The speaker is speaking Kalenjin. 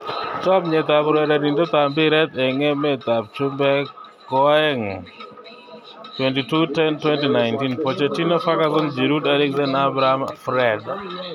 Chomset ab urerenet ab mbiret eng emet ab chumbek koaeng' 22.10.2019: Pochettino, Ferguson, Giroud, Eriksen, Abraham, Fred